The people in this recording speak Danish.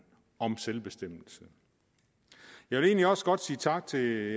om selvbestemmelse jeg vil egentlig også godt sige tak til